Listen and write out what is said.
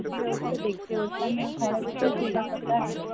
বুঝতে হচ্ছে দেখতে হচ্ছে ঘরে বসেই সেই ব্যাপারটা,